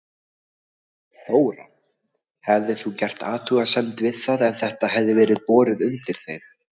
Þóra: Hefðir þú gert athugasemd við það ef þetta hefði verið borið undir þig?